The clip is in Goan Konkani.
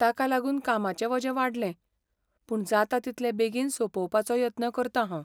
ताका लागून कामांचें वजें वाडलें, पूण जाता तितले बेगीन सोंपोवपाचो यत्न करतां हांव.